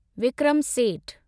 Vikram Seth